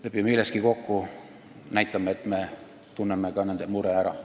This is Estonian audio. Lepime milleski kokku, näitame, et me saame ka nende murest aru.